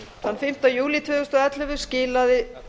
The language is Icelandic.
þann fimmta júlí tvö þúsund og ellefu skilaði